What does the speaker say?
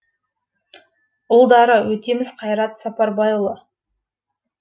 үлдары өтеміс қайрат сапарбайұлы